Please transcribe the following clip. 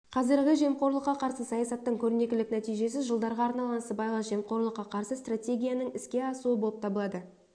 қазіргі жемқорлыққа қарсы саясаттың көрнекілік нәтижесі жылдарға арналған сыбайлас жемқорлыққа қарсы стратегияның іске асуы болып табылады